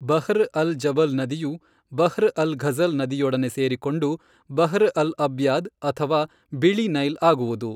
Bahr al Jabal ನದಿಯು Bahr al Ghazal ನದಿಯೊಡನೆ ಸೇರಿಕೊಂಡು ಬಹ್ರ್ ಅಲ್ ಅಬ್ಯಾದ್ ಅಥವಾ ಬಿಳಿ ನೈಲ್ ಆಗುವುದು.